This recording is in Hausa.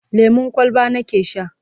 lemun kwalba nake Sha